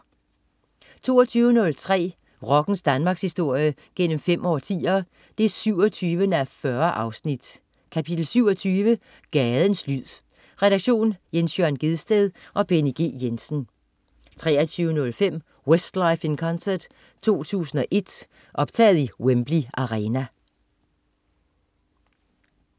22.03 Rockens Danmarkshistorie gennem fem årtier 27:40. Kapitel 27: Gadens lyd. Redaktion: Jens Jørn Gjedsted og Benny G. Jensen 23.05 Westlife In Concert. 2001, optaget i Wembley Arena